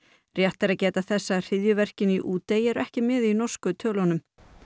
rétt er að geta þess að hryðjuverkin í Útey eru ekki með í norsku tölunum